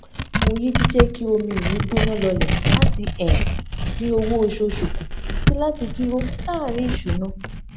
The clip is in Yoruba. mo yí jíjẹ kí omi mi gbóná lọlẹ láti dín owó oṣooṣù kù àti láti dúró láàrin ìṣúná